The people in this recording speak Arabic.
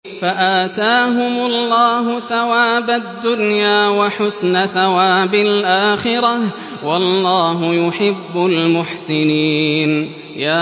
فَآتَاهُمُ اللَّهُ ثَوَابَ الدُّنْيَا وَحُسْنَ ثَوَابِ الْآخِرَةِ ۗ وَاللَّهُ يُحِبُّ الْمُحْسِنِينَ